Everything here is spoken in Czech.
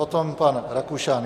Potom pan Rakušan.